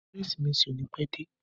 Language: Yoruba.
Kérésìmesì ò ní pẹ́ dé.